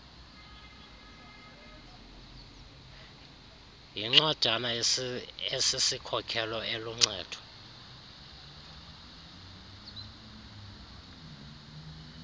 yincwadana esisikhokelo eluncedo